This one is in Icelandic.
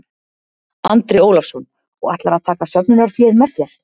Andri Ólafsson: Og ætlarðu að taka söfnunarféð með þér?